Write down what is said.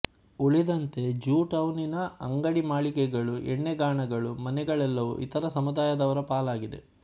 ಉಳಿದಂತೆ ಜ್ಯೂಟೌನಿನ ಅಂಗಡಿ ಮಳಿಗೆಗಳು ಎಣ್ಣೆಗಾಣಗಳು ಮನೆಗಳೆಲ್ಲವೂ ಇತರ ಸಮುದಾಯದವರ ಪಾಲಾಗಿದೆ